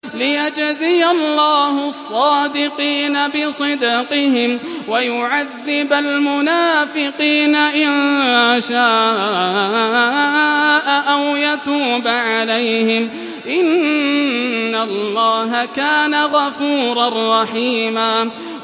لِّيَجْزِيَ اللَّهُ الصَّادِقِينَ بِصِدْقِهِمْ وَيُعَذِّبَ الْمُنَافِقِينَ إِن شَاءَ أَوْ يَتُوبَ عَلَيْهِمْ ۚ إِنَّ اللَّهَ كَانَ غَفُورًا رَّحِيمًا